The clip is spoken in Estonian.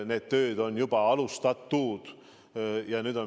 Neid töid on juba alustatud.